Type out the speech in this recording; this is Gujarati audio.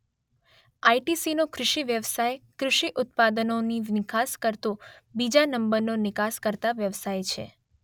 આઇ_શબ્દ ટી_શબ્દ સી_શબ્દ નો કૃષિ વ્યવસાય કૃષિ ઉત્પાદનોની નિકાસ કરતો બીજા નંબરનો નિકાસકર્તા વ્યવસાય છે.